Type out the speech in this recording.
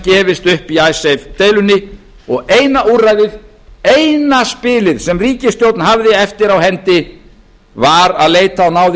gefist upp til dæmis í icesave deilunni eina úrræðið eina spilið sem ríkisstjórn hafði eftir á hendi var að leita á náðir